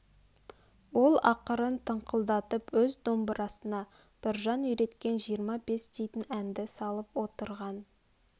ол ақырын тыңқылдатып өз домбырасына біржан үйреткен жиырма-бес дейтін әнді салып отырған